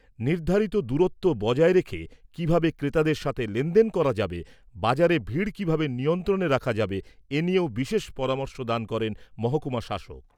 নির্ধারিত দূরত্ব বজায় রেখে কিভাবে ক্রেতাদের সঙ্গে লেনদেন করা যাবে, বাজারে ভিড় কিভাবে নিয়ন্ত্রণে রাখা যাবে এনিয়েও বিশেষ পরামর্শ দান করেন মহকুমা শাসক।